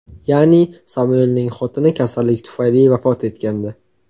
Ya’ni, Samuelning xotini kasallik tufayli vafot etgandi.